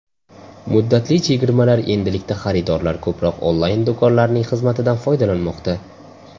Muddatli chegirmalar Endilikda xaridorlar ko‘proq onlayn-do‘konlarning xizmatidan foydalanmoqda.